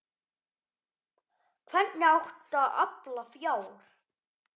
Hvernig átti að afla fjár?